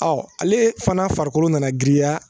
ale fana farikolo nana giriya